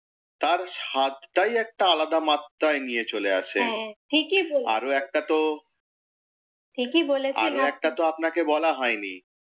তার স্বাদটাই একটা আলাদা মাত্রায় নিয়ে চলে আসে হ্যাঁ ঠিকই বলেছেন আরও একটা তো ঠিকই বলেছেন আপনি আরও একটা তো আপনাকে বলা হয় নি